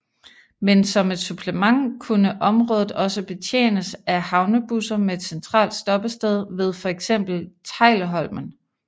Men som et supplement kunne området også betjenes af havnebusser med et centralt stoppested ved for eksempel Teglholmen